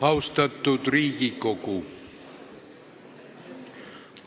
Austatud Riigikogu!